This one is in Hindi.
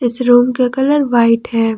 इस रूम का कलर व्हाइट है।